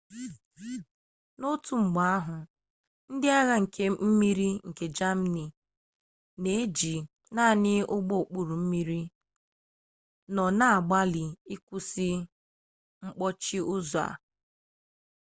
n'otu mgbe ahụ ndị agha nke mmiri nke jamanị n'iji naanị ụgbọokpurummiri nọ na-agbalị ịkwụsị mkpọchi ụzọ a